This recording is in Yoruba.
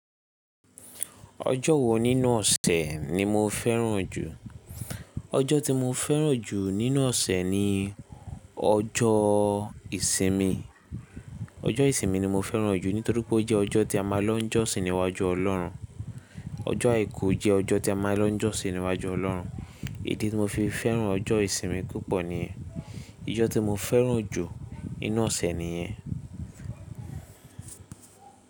Ọjọ́ wo nínú ọ̀sẹ̀ ni mo fẹ́ràn jù? Ọjọ́ tí mo fẹ́ràn jù nínú ọ̀sẹ̀ ni ọjọ́ ìsinmi. Ọjọ́ ìsinmi ni mo fẹ́ràn jù nítorí pé ó jẹ́ ọjọ́ tí a máa ń lọ jọ́sìn níwájú Ọlọ́run. Ọjọ́ àìkú jẹ́ ọjọ́ tí a máa ń lọ jọ́sìn níwájú Ọlọ́run. Ìdí tí mo fi fẹ́ràn ọjọ́ ìsinmi púpọ̀ ni. Ọjọ́ tí mo fẹ́ràn jù nínú ọ̀sẹ̀ nìyẹn.